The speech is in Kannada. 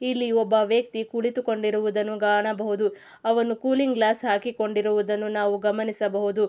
ಇಲ್ಲಿ ಒಬ್ಬ ವ್ಯಕ್ತಿ ಕುಳಿತುಕೊಂಡಿರುವುದನ್ನು ಕಾಣಬಹುದು ಅವನು ಕೂಲಿಂಗ್ ಗ್ಲಾಸ್ ಹಾಕಿಕೊಂಡಿರುವುದನ್ನು ನಾವು ಗಮನಿಸಬಹುದು.